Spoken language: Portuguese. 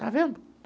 Está vendo?